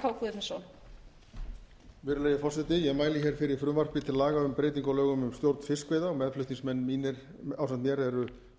virðulegi forseti ég mæli hér fyrir frumvarpi til laga um breytingu á lögum um stjórn fiskveiða